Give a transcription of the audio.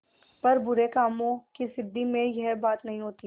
पर बुरे कामों की सिद्धि में यह बात नहीं होती